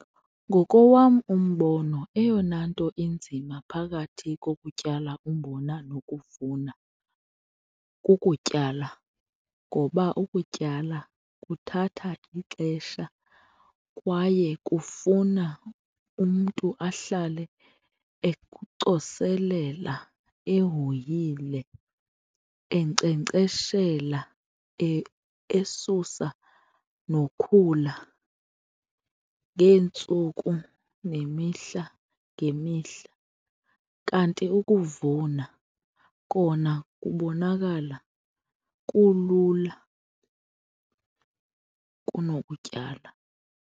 Ngokowam umbono eyona nto inzima phakathi kokutyala umbona nokuvuna, kukutyala ngoba ukutyala kuthatha ixesha kwaye kufuna umntu ahlale ecoselela, ehoyile, enkcenkceshela esusa nokhula ngeentsuku nemihla ngemihla. Kanti ukuvuna kona kubonakala kulula kunokutyala.